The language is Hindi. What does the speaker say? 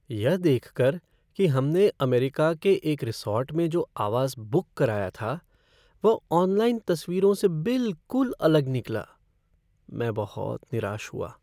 यह देख कर कि हमने अमेरिका के एक रिसॉर्ट में जो आवास बुक कराया था वह ऑनलाइन तस्वीरों से बिलकुल अलग निकला, मैं बहुत निराश हुआ।